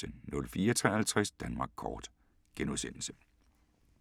04:53: Danmark kort *